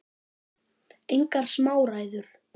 Engar smá ræður!